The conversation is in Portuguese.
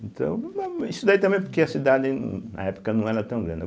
Então, isso daí também porque a cidade, na época, não era tão grande